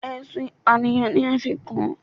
Ẹ̀sùn ìpànìyàn ni a fi kàn án